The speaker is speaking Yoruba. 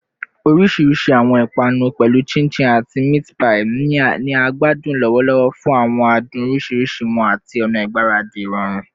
Orisirisi awọn ipanu, pẹlu chin chin ati meat pie, ni a gbadun lọwọlọwọ fun awọn adun oriṣiriṣi wọn ati awọn ọna igbaradi irọrun